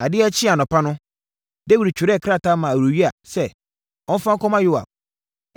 Adeɛ kyee anɔpa no, Dawid twerɛɛ krataa maa Uria sɛ ɔmfa nkɔma Yoab.